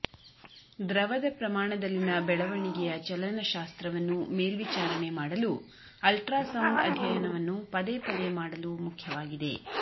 ದ್ರವದ ಪ್ರಮಾಣದಲ್ಲಿನ ಬೆಳವಣಿಗೆಯ ಚಲನಶಾಸ್ತ್ರವನ್ನು ಮೇಲ್ವಿಚಾರಣೆ ಮಾಡಲು ಅಲ್ಟ್ರಾಸೌಂಡ್ ಅಧ್ಯಯನವನ್ನು ಪದೇ ಪದೇ ಮಾಡಲು ಮುಖ್ಯವಾಗಿದೆ